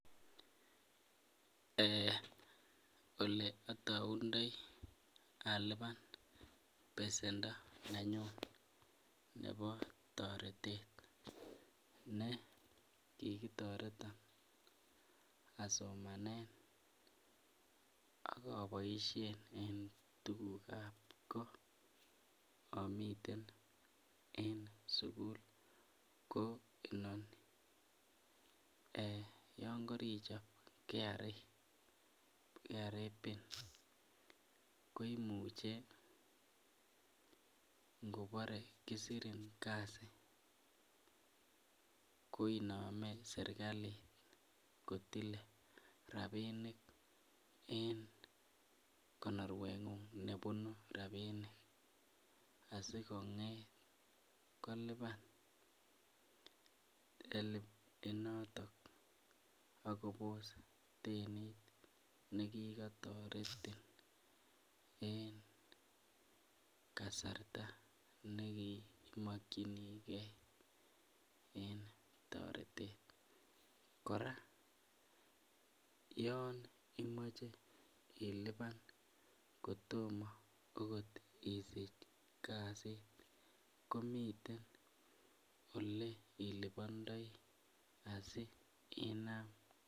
Ole ataundai alipan besendo ne nyun nebo toretet ne kikitoreto asomane akoboishen en tukuk ap koot amiten en sukul koeni ana yon karichop kra pin koimuche ngoporei kisirin kasi ko inome serikalit kotile rapinik en konorwet ng'ung' nebunu ropinik asikonget kolipan helb inoton akopos denit nekikatoretin eng kasarta nekimokchinike eng toretet kora yon imoche ilipan kotomo akot isich kasit komiten ole ilipondoi asi inam.